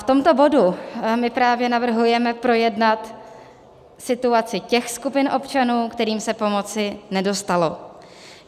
V tomto bodu my právě navrhujeme projednat situaci těch skupin občanů, kterým se pomoci nedostalo.